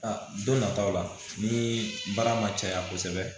A don nataw la ni baara ma caya kosɛbɛ